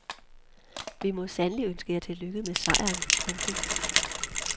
Vi må sandelig ønske jer tillykke med sejren. punktum